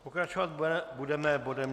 Pokračovat budeme bodem